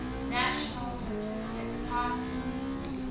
national fascist party